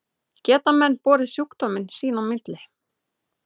Geta menn borið sjúkdóminn sín á milli?